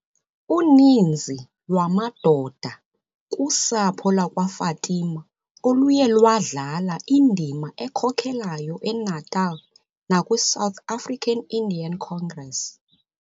Uninszi lwamadoda kusapho lakwaFatima oluye lwadlala indima ekhokelayo eNatal nakwi-South African Indian Congress.